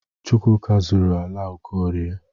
Chukwuka zuru ala Okorie.